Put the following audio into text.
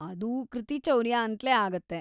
ಅದೂ ಕೃತಿಚೌರ್ಯ ಅಂತ್ಲೇ ಆಗತ್ತೆ.